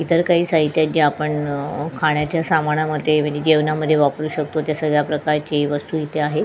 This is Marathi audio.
इतर काही साहित्य आहे जे आपण अ खाण्याच्या सामानामध्ये जेवणामध्ये वापरू शकतो तसच या प्रकारची वस्तू इथे आहे.